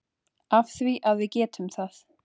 Af því að við getum það.